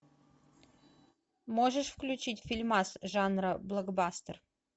можешь включить фильмас жанра блокбастер